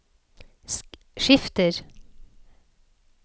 skifter